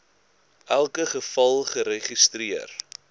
elke geval geregistreer